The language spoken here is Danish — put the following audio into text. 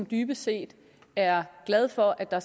dybest set er glad for at der